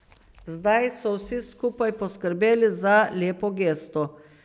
Zdaj so vsi skupaj poskrbeli za lepo gesto.